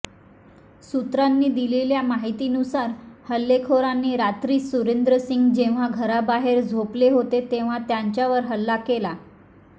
सूत्रांनी दिलेल्या माहितीनुसार हल्लेखोरांनी रात्री सुरेंद्र सिंह जेव्हा घराबाहेर झोपले होते तेव्हा त्यांच्यावर हल्ला केला